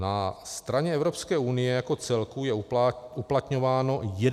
Na straně Evropské úrovně jako celku je uplatňováno 11 výhrad.